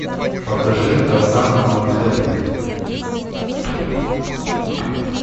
покажи тарзан на манхэттене